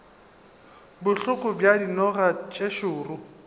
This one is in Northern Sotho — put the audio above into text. bohloko bja dinoga tše šoro